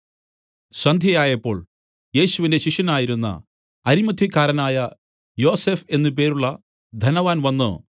സന്ധ്യയായപ്പോൾ യേശുവിന്റെ ശിഷ്യനായിരുന്ന അരിമത്ഥ്യക്കാരനായ യോസഫ് എന്ന പേരുള്ള ധനവാൻ വന്നു